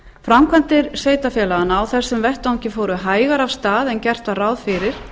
framkvæmdir sveitarfélaganna á þessum vettvangi fóru hægar af stað en gert var ráð fyrir